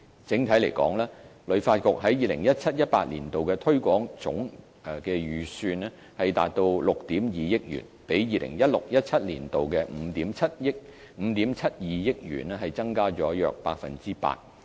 整體而言，旅發局於 2017-2018 年度的推廣總預算達6億 2,000 萬元，比 2016-2017 年度的5億 7,200 萬元增加約 8%。